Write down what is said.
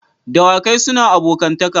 Dawakai suna abokantaka.